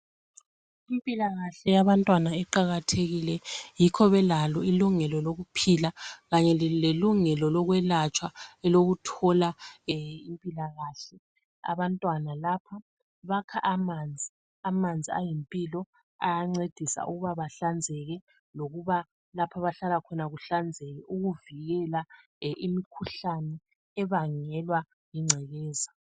Impilakahle yabantwana iqakathekile yikho belalo ilungelo lokuphila Kanye lelungelo lokhwelatshwa elokuthola impilakahle abantwana lapha bakha amanzi. Amanzi ayimpilo ayancedisa ukuba bahlanzeke lokuba lapho abahlala khona kuhlanzekile ukuvikela imkhuhlane ebangelwa yingcekeza.